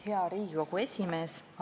Hea Riigikogu esimees!